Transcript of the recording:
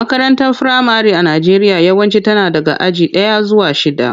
Makarantar firamare a Najeriya yawanci tana daga aji daya zuwa shida.